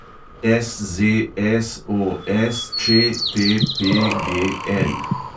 SZSOSČTPGL